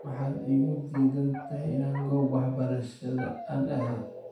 Maxad iikudiidantahy ina gobta waxbarashada aan aado?